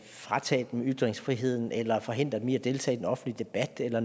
fratage dem ytringsfriheden eller forhindre dem i at deltage i den offentlige debat eller